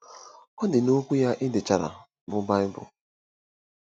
Ọ dị n'Okwu ya e dechara, bụ́ Baịbụl.